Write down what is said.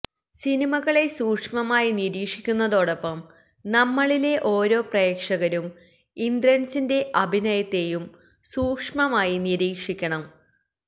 സിനിമകളെ സൂക്ഷ്മമായി നീരിക്ഷിക്കുന്നതൊടൊപ്പം നമ്മള്ളിലെ ഓരോ പ്രേക്ഷകരും ഇന്ദ്രന്സിന്റെ അഭിനയത്തെയും സൂക്ഷ്മമായി നീരീക്ഷിക്കണം